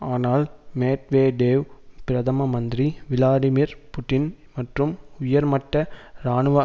ஆனால் மேட்வேடேவ் பிரதம மந்திரி விளாடிமீர் புட்டின் மற்றும் உயர்மட்ட இராணுவ